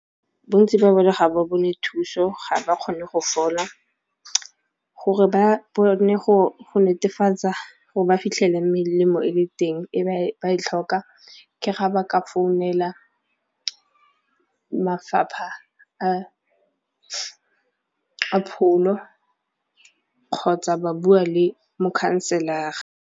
Bontsi ba bone ga ba bone thuso ga ba kgone go fola gore ba bone go netefatsa gore ba fitlhele melemo e le teng e ba e tlhoka ke ga ba ka founela mafapha a pholo kgotsa ba bua le mokhanselara.